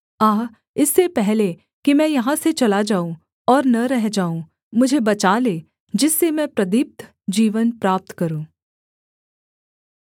आह इससे पहले कि मैं यहाँ से चला जाऊँ और न रह जाऊँ मुझे बचा ले जिससे मैं प्रदीप्त जीवन प्राप्त करूँ